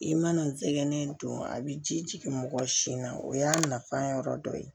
I mana n sɛgɛn don a bi ji jigin mɔgɔ si na o y'a nafan yɔrɔ dɔ ye